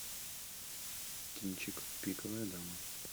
кинчик пиковая дама